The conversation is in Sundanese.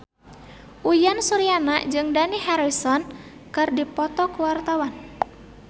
Uyan Suryana jeung Dani Harrison keur dipoto ku wartawan